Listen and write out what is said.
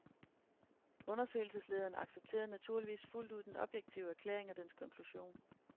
Undersøgelseslederen accepterede naturligvis fuldt ud denne objektive erklæring og dens konklusion.